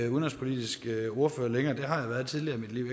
udenrigspolitisk ordfører længere det har jeg været tidligere i mit liv